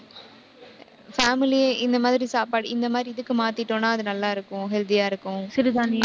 family யா இந்த மாதிரி சாப்பாடு, இந்த மாதிரி இதுக்கு மாத்திட்டோம்னா, அது நல்லா இருக்கும் healthy ஆ இருக்கும். சிறுதானியம்